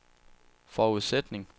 forudsætning